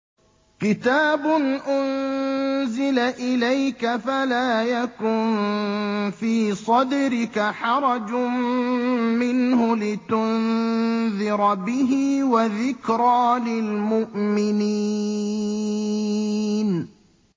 كِتَابٌ أُنزِلَ إِلَيْكَ فَلَا يَكُن فِي صَدْرِكَ حَرَجٌ مِّنْهُ لِتُنذِرَ بِهِ وَذِكْرَىٰ لِلْمُؤْمِنِينَ